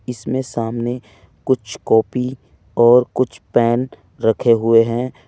इसमें सामने कुछ कॉपी और कुछ पेन रखे हुए हैं।